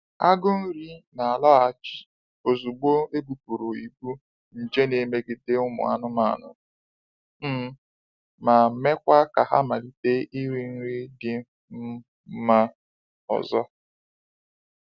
Agụ nri na-alọghachi ozugbo ebupụrụ ibu nje n'emegide ụmụ anụmanụ, um ma mekwa ka ha malite iri nri dị um mma ọzọ.